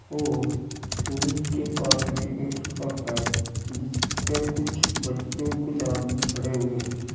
और कॉलेज के पास में एक सड़क है जिस पर कुछ बच्चो कुछ आदमी खड़े हैं।